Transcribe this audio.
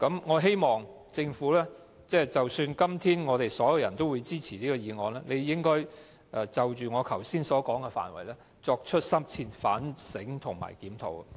我希望即使今天所有議員都支持這項議案，政府也應該就我剛才所說的範圍，作出深切反省及檢討。